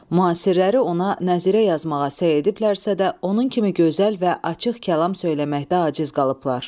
Müasirləri ona nəzirə yazmağa səy ediblərsə də, onun kimi gözəl və açıq kəlam söyləməkdə aciz qalıblar.